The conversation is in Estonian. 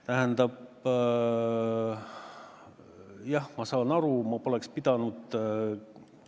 Tähendab, jah, ma saan aru, et ma poleks pidanud rääkima sellest konkursist.